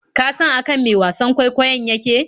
Ka san akan me wasan kwaikwayon yake?